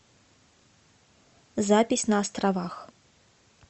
запись на островах